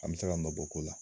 An be se ka nɔ bɔ ko la